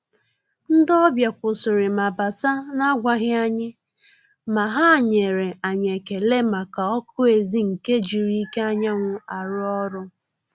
Ndị́ ọ́bị̀à kwụ́sị́rị̀ mà bátà nà-ágwàghị́ ànyị́, mà hà nyèrè ànyị́ ékélé màkà ọ́kụ́ ézì nke jírí íké ányà nwụ́ àrụ́ ọ́rụ́.